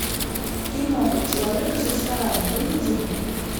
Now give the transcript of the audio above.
киноха человек из ресторана выведи мне